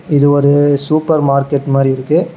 இது ஒரு super market மாதிரி இருக்கு.